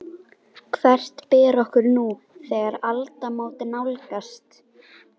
Hvert ber okkur nú, þegar aldamót nálgast?